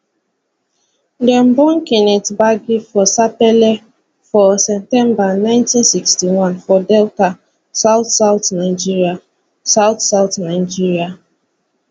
dem born kenneth gbagi for sapele for september 1961 for delta state southsouth nigeria southsouth nigeria